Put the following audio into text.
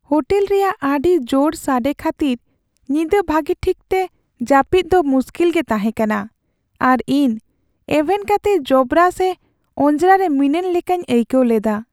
Hotel ᱨᱮᱭᱟᱜ ᱟᱹᱰᱤ ᱡᱳᱨ ᱥᱟᱰᱮ ᱠᱷᱟᱹᱛᱤᱨ ᱧᱤᱫᱟᱹ ᱵᱷᱟᱜᱮ ᱴᱷᱤᱠᱛᱮ ᱡᱟᱹᱯᱤᱫᱽ ᱫᱚ ᱢᱩᱥᱠᱤᱞ ᱜᱮ ᱛᱟᱦᱮᱸ ᱠᱟᱱᱟ ᱟᱨ ᱤᱧ ᱮᱵᱷᱮᱱ ᱠᱟᱛᱮ ᱡᱚᱵᱽᱨᱟ ᱥᱮ ᱚᱸᱡᱽᱨᱟ ᱨᱮ ᱢᱤᱱᱟᱹᱧ ᱞᱮᱠᱟᱧ ᱟᱹᱭᱠᱟᱹᱣ ᱞᱮᱫᱟ ᱾